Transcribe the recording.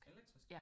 Elektrisk